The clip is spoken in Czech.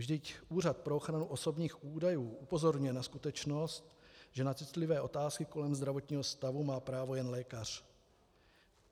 Vždyť Úřad pro ochranu osobních údajů upozorňuje na skutečnost, že na citlivé otázky kolem zdravotního stavu má právo jen lékař.